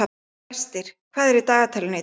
Brestir, hvað er í dagatalinu í dag?